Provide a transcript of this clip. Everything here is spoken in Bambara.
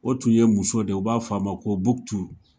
O tun ye muso de ye, u b'a f'a ma ko Buktu.